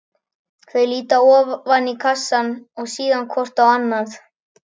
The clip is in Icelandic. Þau líta ofan í kassann og síðan hvort á annað.